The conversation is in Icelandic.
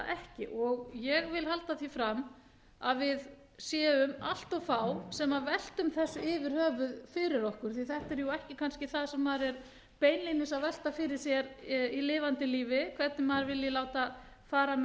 ekki ég vil halda því fram að við séum allt of fá sem veltum þessu yfir höfuð fyrir okkur því að þetta er jú ekki kannski það sem maður er beinlínis að velta fyrir sér í lifandi lífi hvernig maður vilji láta fara með